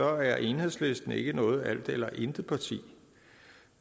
er enhedslisten ikke noget alt eller intet parti og